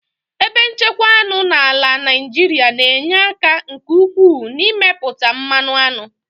Ebe nchekwa aṅụ n'ala Naijiria na-enye aka nke ukwuu n'ịmepụta mmanụ aṅụ.